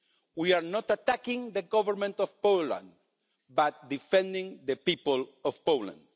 We are not attacking the Government of Poland, but defending the people of Poland.